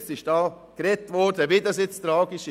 Hier wurde gesagt, wie tragisch das nun sei.